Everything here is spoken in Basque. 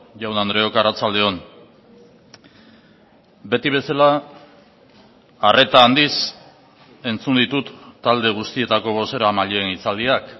jaun andreok arratsalde on beti bezala arreta handiz entzun ditut talde guztietako bozeramaileen hitzaldiak